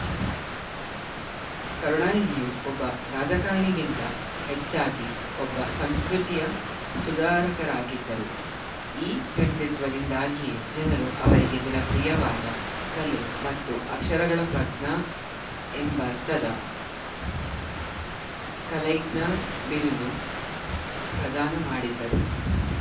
ಕರುಣಾನಿಧಿಯು ಒಬ್ಬ ರಾಜಕಾರಣಿಗಿಂತ ಹೆಚ್ಚಾಗಿ ಒಬ್ಬ ಸಂಸ್ಕೃತಿಯ ಸುಧಾರಕರಾಗಿದ್ದರು ಈ ವ್ಯಕ್ತಿತ್ವದಿಂದಾಗಿಯೇ ಜನರು ಅವರಿಗೆ ಜನಪ್ರಿಯವಾದ ಕಲೆ ಮತ್ತು ಅಕ್ಷರಗಳ ಪ್ರಾಜ್ಞ ಎಂಬರ್ಥದ ಕಲೈಗ್ನಾರ್‌ ಬಿರುದು ಪ್ರದಾನ ಮಾಡಿದ್ದರು